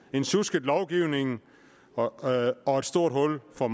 en sjusket lovgivning og et stort hul for